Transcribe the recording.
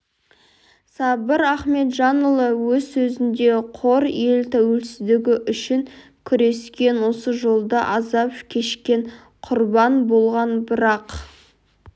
сабыр ахметжанұлы өз сөзінде қор ел тәуелсіздігі үшін күрескен осы жолда азап кешкен құрбан болған бірақ